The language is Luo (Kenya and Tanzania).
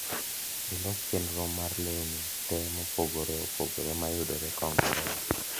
llos chenro mar leuni te mopogore opogore mayudore kongowea